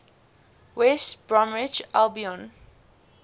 west bromwich albion